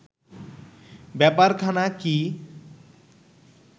ব্যাপারখানা কি